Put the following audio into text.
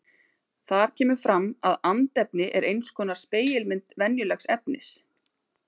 Þar kemur fram að andefni er eins konar spegilmynd venjulegs efnis.